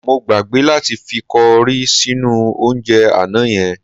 Mo gbàgbé láti fi kọrí sínú oúnjẹ àná yẹn.